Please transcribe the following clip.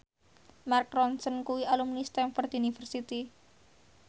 Mark Ronson kuwi alumni Stamford University